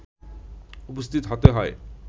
উপস্থিত হতে হয়